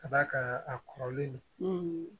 Ka d'a kan a kɔrɔlen don